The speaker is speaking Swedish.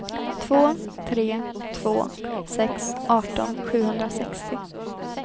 två tre två sex arton sjuhundrasextio